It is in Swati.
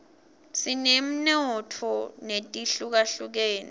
sinetemnotfo letihlukahlukene